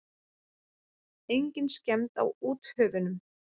Engin skemmd á úthöfunum.